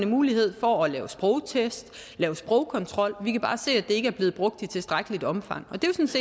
mulighed for at lave en sprogtest lave sprogkontrol vi kan bare se at det ikke er blevet brugt i tilstrækkeligt omfang